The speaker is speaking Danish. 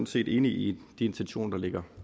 set enige i de intentioner der ligger